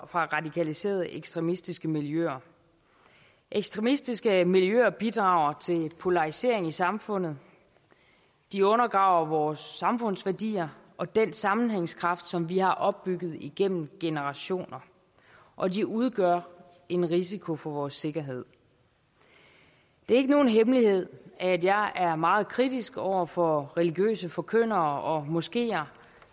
fra radikaliserede ekstremistiske miljøer ekstremistiske miljøer bidrager til polarisering i samfundet de undergraver vores samfundsværdier og den sammenhængskraft som vi har opbygget igennem generationer og de udgør en risiko for vores sikkerhed det ikke nogen hemmelighed at jeg er meget kritisk over for religiøse forkyndere og moskeer